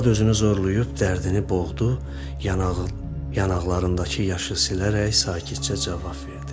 Arvad özünü zorlayıb dərdini boğdu, yanaqlarındakı yaşı silərək sakitcə cavab verdi.